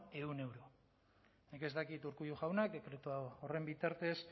ehun euro nik ez dakit urkullu jauna dekretu horren bitartez